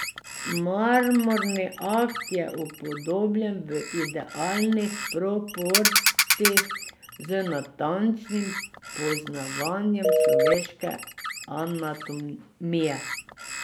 Marmorni akt je upodobljen v idealnih proporcih z natančnim poznavanjem človeške anatomije.